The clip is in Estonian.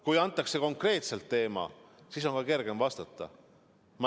Kui antakse konkreetne teema, siis on ka kergem vastata.